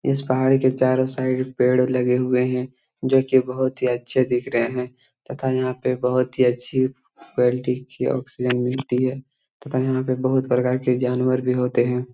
इस पहाड़ के चारों साइड पेड़ लगे हुए है जो की बहुत ही अच्छे दिख रहे है तथा यहां पर बहुत ही अच्छी क्वालिटी की ऑक्सीजन मिलती है तथा यहां पर बहुत प्रकार की जानवर भी होते हैं।